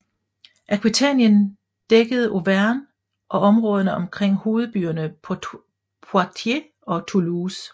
Aquitanien dækkede Auvergne og områderne omkring hovedbyerne Poitiers og Toulouse